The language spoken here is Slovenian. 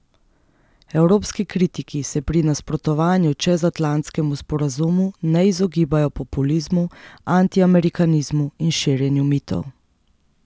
Evropski kritiki se pri nasprotovanju čezatlantskemu sporazumu ne izogibajo populizmu, antiamerikanizmu in širjenju mitov.